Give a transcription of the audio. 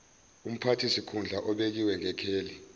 umphathisikhundla obekiwe ngekheli